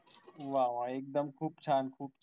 वा वा एकदम खूप छान खूप छान